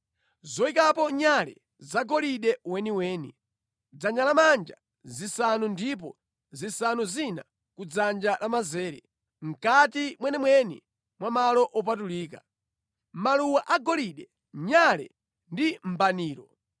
zoyikapo nyale zagolide weniweni (dzanja lamanja zisanu ndipo zisanu zina ku dzanja lamanzere, mʼkati mwenimweni mwa malo opatulika); maluwa agolide, nyale ndi mbaniro;